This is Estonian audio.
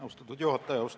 Austatud juhataja!